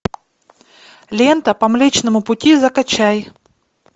лента по млечному пути закачай